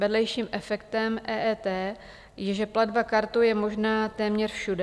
Vedlejším efektem EET je, že platba kartou je možná téměř všude.